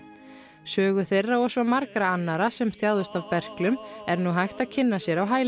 sögu þeirra og svo margra annara sem þjáðust af berklum er nú hægt að kynna sér á hælinu